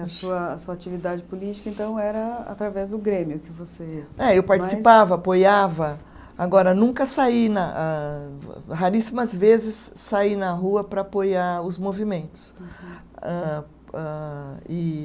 A sua, a sua atividade política, então, era através do Grêmio que você. É, eu participava, apoiava, agora nunca saí na, âh raríssimas vezes saí na rua para apoiar os movimentos. Âh, âh, e